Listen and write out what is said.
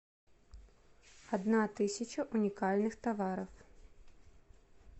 одна тысяча уникальных товаров